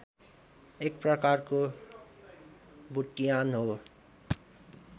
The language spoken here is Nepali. एक प्रकारको बुट्यान हो